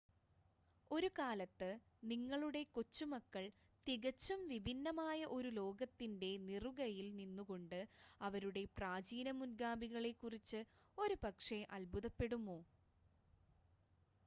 ഒരു കാലത്ത്, നിങ്ങളുടെ കൊച്ചുമക്കൾ തികച്ചും വിഭിന്നമായ ഒരു ലോകത്തിന്റെ നിറുകയിൽ നിന്നുകൊണ്ട് അവരുടെ പ്രാചീന മുൻഗാമികളെക്കുറിച്ച് ഒരുപക്ഷേ അത്ഭുതപ്പെടുമോ?